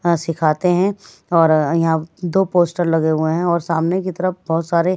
सिखाते हैं और यहाँ दो पोस्टर लगे हुए हैं और सामने की तरफ बहुत सारे --